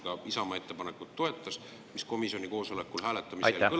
… kui komisjoni liikmete suhteline enamus Isamaa ettepanekut toetas?